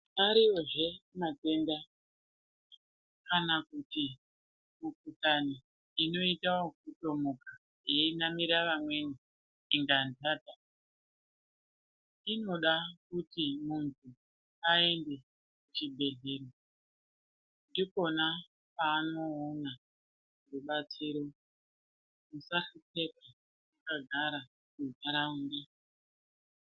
Ariyozve matenda kana kuti mikhuhlani inoita yokutomuka yenamira vamweni inganhata inoda kuti muntu aende kuchibhedhlera ndikona kwaanoona rubatsiro musaswere makagare muntaraunda.